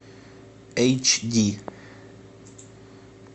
эйч ди